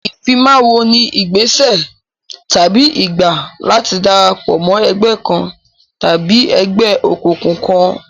Ìfimáwo ni ìgbésẹ̀ tàbí ìgbà láti darapọ̀ mọ́ ẹgbẹ́ kan tàbí ẹgbẹ́ òkùnkùn kan.